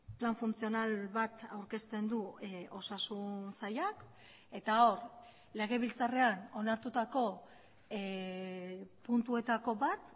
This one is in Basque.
plan funtzional bat aurkezten du osasun sailak eta hor legebiltzarrean onartutako puntuetako bat